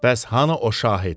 Bəs hanı o şahid?